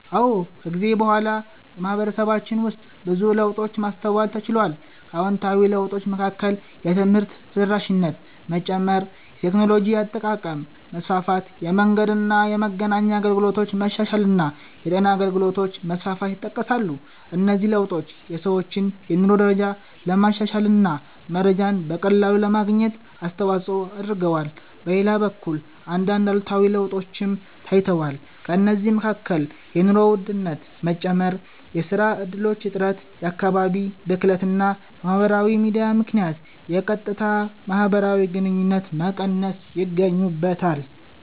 አዎ፣ ከጊዜ በኋላ በማህበረሰባችን ውስጥ ብዙ ለውጦችን ማስተዋል ተችሏል። ከአዎንታዊ ለውጦች መካከል የትምህርት ተደራሽነት መጨመር፣ የቴክኖሎጂ አጠቃቀም መስፋፋት፣ የመንገድና የመገናኛ አገልግሎቶች መሻሻል እና የጤና አገልግሎቶች መስፋፋት ይጠቀሳሉ። እነዚህ ለውጦች የሰዎችን የኑሮ ደረጃ ለማሻሻል እና መረጃን በቀላሉ ለማግኘት አስተዋጽኦ አድርገዋል። በሌላ በኩል አንዳንድ አሉታዊ ለውጦችም ታይተዋል። ከእነዚህ መካከል የኑሮ ውድነት መጨመር፣ የሥራ እድሎች እጥረት፣ የአካባቢ ብክለት እና በማህበራዊ ሚዲያ ምክንያት የቀጥታ ማህበራዊ ግንኙነቶች መቀነስ ይገኙበታል።